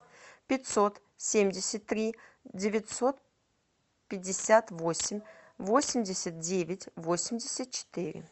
пятьсот семьдесят три девятьсот пятьдесят восемь восемьдесят девять восемьдесят четыре